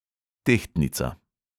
Tehtnica.